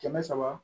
Kɛmɛ saba